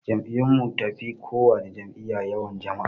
Jam'iyyun mun tafi kowana jam'iyya yawan jama'a